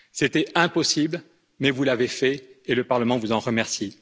C'était impossible, mais vous l'avez fait, et le Parlement vous en remercie.